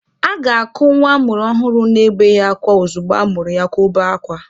A ga-akụ nwa a mụrụ ọhụrụ na-ebeghị akwa ozugbo a mụrụ ya ka o bee akwa